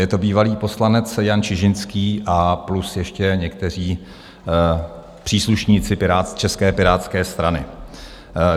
Je to bývalý poslanec Jan Čižinský a plus ještě někteří příslušníci České pirátské strany.